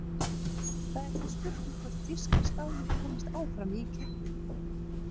Það er því spurning hvort þýska stálið komist áfram í keppninni?